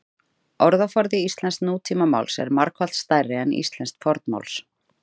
Orðaforði íslensks nútímamáls er margfalt stærri en íslensks fornmáls.